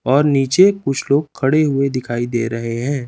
और नीचे कुछ लोग खड़े हुए दिखाई दे रहे हैं।